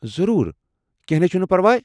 ضروُر ! کٮ۪نٛہہ نے چھُنہٕ پرواے۔